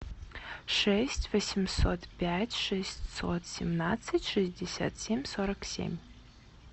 шесть восемьсот пять шестьсот семнадцать шестьдесят семь сорок семь